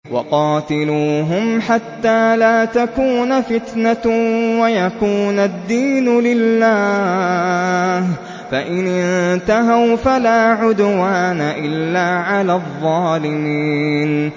وَقَاتِلُوهُمْ حَتَّىٰ لَا تَكُونَ فِتْنَةٌ وَيَكُونَ الدِّينُ لِلَّهِ ۖ فَإِنِ انتَهَوْا فَلَا عُدْوَانَ إِلَّا عَلَى الظَّالِمِينَ